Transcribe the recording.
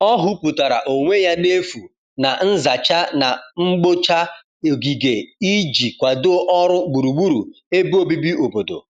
ọ huputara onwe ya n'efu na nzacha na mgbocha ogige iji kwado ọrụ gburugburu ebe obibi obodo